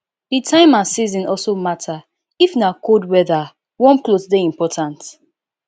di time and season also matter if na cold weather warm cloth dey important